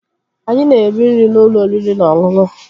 Anyị na-eri nri n'ụlọ oriri na ọṅụṅụ